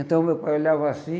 Então meu pai olhava assim,